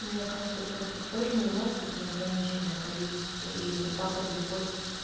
мне кажется тестов тоже не может быть неограниченное количество и вот так вот любой